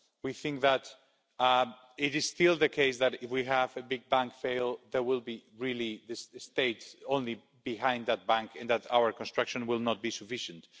We think that it is still the case that, if we have a big bank fail, there will only really be states behind that bank and that our construction will not be sufficient.